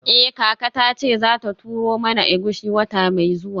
Eh kaka tace zata turo mana egusi wata mai zuwa.